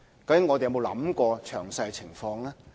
究竟我們有沒有想過詳細情況呢？